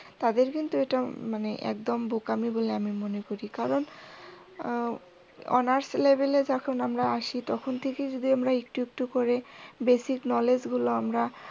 তাদের কিন্তু এটা মানে একদম বোকামি বলে আমি মনে করি। কারণ অনার্স লেবেলে যখন আমরা আসি তখন থেকে যদি আমরা একটু একটু করে basic knowledge গুলো আমরা